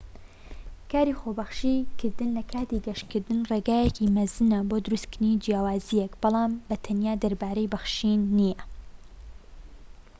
کاری خۆبەخشی کردن لە کاتی گەشتکردن ڕێگایەکی مەزنە بۆ دروستكردنی جیاوازیەک بەڵام بە تەنها دەربارەی بەخشین نیە